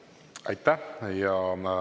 Aitäh!